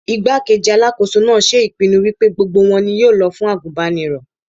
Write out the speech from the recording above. Igbá-kejì Alákóso náà ṣe ìpinnu wípé gbogbo wọn ni yóò lọ fún àgùnbánirọ̀.